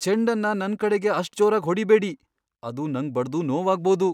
ಚೆಂಡನ್ನ ನನ್ ಕಡೆಗೆ ಅಷ್ಟ್ ಜೋರಾಗ್ ಹೊಡಿಬೇಡಿ. ಅದು ನಂಗ್ ಬಡ್ದು ನೋವಾಗ್ಬೋದು.